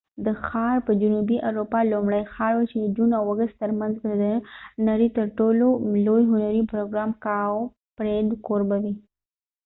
دا ښار به د جنوبی اروپا لومړۍ ښار وي چې د جون او اګست تر منځ به د نړی تر ټولو لوي هنری پروګرام کاوپریډ کوربه وي